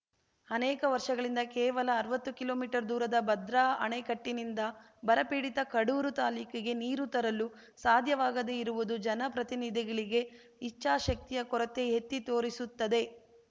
ಅನೇಕ ವರ್ಷಗಳಿಂದ ಕೇವಲ ಅರ್ವತ್ತು ಕಿಲೋಮೀಟರ್ ದೂರದ ಭದ್ರಾ ಆಣೆಕಟ್ಟಿನಿಂದ ಬರಪೀಡಿತ ಕಡೂರು ತಾಲೂಕಿಗೆ ನೀರು ತರಲು ಸಾಧ್ಯವಾಗದೇ ಇರುವುದು ಜನಪ್ರತಿನಿಧಿಗಳಿಗೆ ಇಚ್ಛಾಶಕ್ತಿಯ ಕೊರತೆ ಎತ್ತಿ ತೋರಿಸುತ್ತದೆ